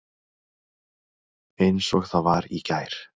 Eins og það var í gær.